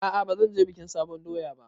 A'a bazan je bikin sabon doya ba